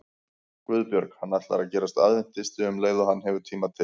GUÐBJÖRG: Hann ætlar að gerast aðventisti um leið og hann hefur tíma til.